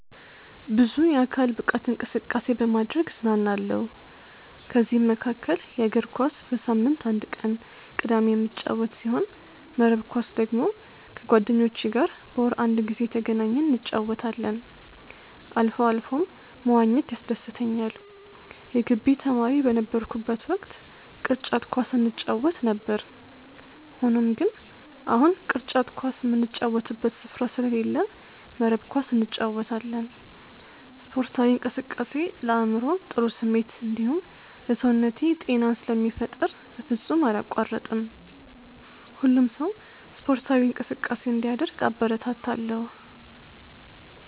ብዙ የአካል ብቃት እንቅስቃሴ በማድረግ እዝናናለሁ። ከዚህም መካከል እግር ኳስ በሳምንት አንድ ቀን ቅዳሜ የምጫወት ሲሆን መረብ ኳስ ደግሞ ከጓደኞቼ ጋር በወር አንድ ጊዜ እየተገናኘን እንጫወታለን አልፎ አልፎም መዋኘት ያስደስተኛል የግቢ ተማሪ በነበርኩበት ወቅት ቅርጫት ኳስ እንጫወት ነበር። ሆኖም ግን አሁን ቅርጫት ኳስ ምንጫወትበት ስፍራ ስለሌለ መረብ ኳስ እንጫወታለን። ስፖርታዊ እንቅስቃሴ ለአይምሮ ጥሩ ስሜት እንዲሁም ለሰውነቴ ጤናን ስለሚፈጥር በፍጹም አላቋርጥም። ሁሉም ሰው ስፖርታዊ እንቅስቃሴ እንዲያደርግ አበረታታለሁ።